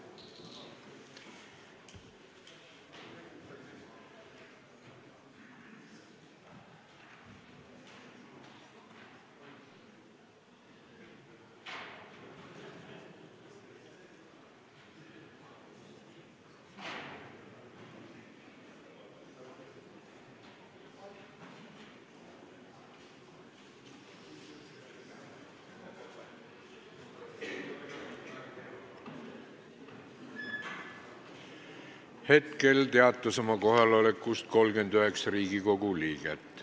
Kohaloleku kontroll Hetkel teatas oma kohalolekust 39 Riigikogu liiget.